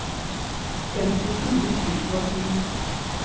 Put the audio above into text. femtifire tusen og ti